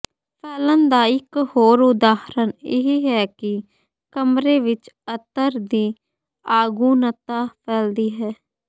ਫੈਲਣ ਦਾ ਇਕ ਹੋਰ ਉਦਾਹਰਨ ਇਹ ਹੈ ਕਿ ਕਮਰੇ ਵਿਚ ਅਤਰ ਦੀ ਆਗੁਨਤਾ ਫੈਲਦੀ ਹੈ